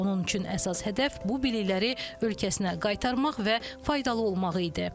Onun üçün əsas hədəf bu bilikləri ölkəsinə qaytarmaq və faydalı olmaq idi.